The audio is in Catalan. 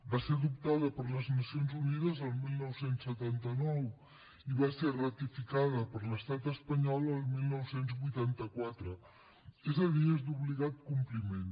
va ser adoptada per les nacions unides el dinou setanta nou i va ser ratificada per l’estat espanyol el dinou vuitanta quatre és a dir és d’obligat compliment